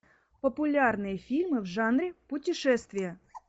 популярные фильмы в жанре путешествия